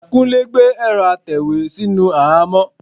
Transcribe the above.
Kúnlé gbé ẹ̀rọ́ atẹ̀wé sínú àhámọ́.